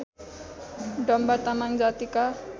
डम्बा तामाङ जातिका